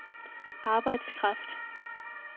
arbejdskraft